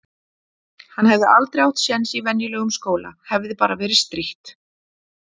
Hann hefði aldrei átt sjens í venjulegum skóla. hefði bara verið strítt.